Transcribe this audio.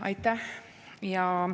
Aitäh!